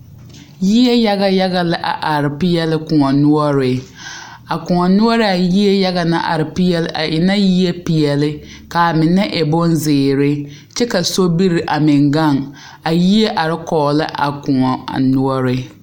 Yie yaga yaga la a are peɛlle koɔ noɔre a koɔ noɔre a yie yaga naŋ are peɛlle mine e la peɛlle ka a mine e bonzeere kyɛ ka sobiri a meŋ gaŋ a yie are kɔge la a koɔ a noɔre.